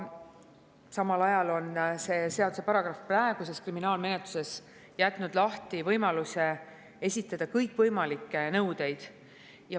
Samal ajal on see seaduse paragrahv praeguses kriminaalmenetluses jätnud lahti võimaluse esitada kõikvõimalikke nõudeid.